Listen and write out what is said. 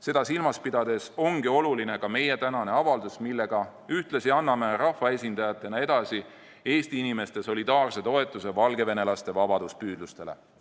Seda silmas pidades ongi oluline ka meie tänane avaldus, millega ühtlasi anname rahvaesindajatena edasi Eesti inimeste solidaarse toetuse valgevenelaste vabaduspüüdlustele.